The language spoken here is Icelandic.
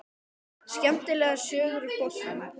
Skemmtilegar sögur úr boltanum?